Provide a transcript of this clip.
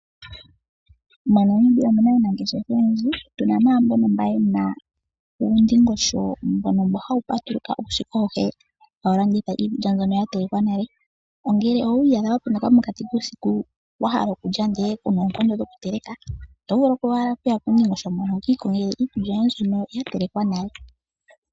MoNamibia omu na mo aanangeshefa oyendji. Tu na mo naa mbono ye na uundingosho mbono hawu patuluka uusiku auhe hawu landitha iikulya mbyono ya telekwa nale. Ngele owi iyadha wa penduka mokati kuusiku wa hala okulya, ndele ku na oonkondo dhokuteleka oto vulu owala okuya puundingosho mboka wu ka ikongele iikulya yoye mbyono ya telekwa nale.